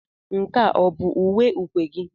Nke a ọ bụ uwe ukwe gị?